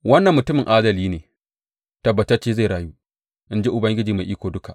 Wannan mutumin adali ne; tabbatacce zai rayu, in ji Ubangiji Mai Iko Duka.